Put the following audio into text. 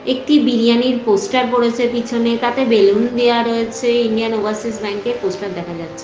একটি বিরিয়ানির পোস্টার পড়েছে পেছনে তাতে বেলুন দেওয়া রয়েছে ইন্ডিয়ান ওভারসিজ ব্যাঙ্ক এর পোস্টার দেখা যাচ্ছে।